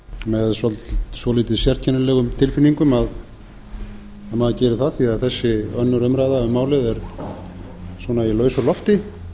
með svolítið sérkennilegum tilfinningum að maður gerir það því að þessi annarrar umræðu um málið er svona í lausu lofti